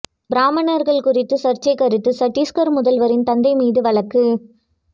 பிராமணர்கள் குறித்து சர்ச்சை கருத்து சட்டீஸ்கர் முதல்வரின் தந்தை மீது வழக்கு